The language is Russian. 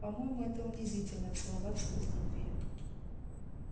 по моему это унизительно целоваться без любви